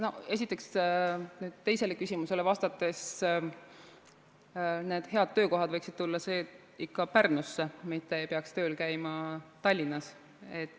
Esiteks, teisele küsimusele vastates: need head töökohad võiksid tulla ikka Pärnusse, mitte ei peaks tööl käima Tallinnas.